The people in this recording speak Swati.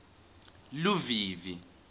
luvivi